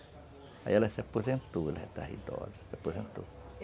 Aí ela se aposentou, ela é já estava idosa, se aposentou.